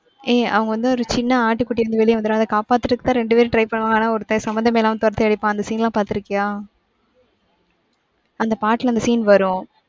ஏய் அவங்க வந்து ஒரு சின்ன ஆட்டுக்குட்டி வெளிய வந்துரும் அத காப்பாத்துறதுக்கு தான் ரெண்டு பேரும் try பண்ணுவாங்க. ஆனா ஒருத்தன் சம்பந்தமே இல்லாம தொரத்தி அடிப்பான். அந்த scene லாம் பாத்துருக்கியா? அந்த பாட்டுல அந்த scene வரும்.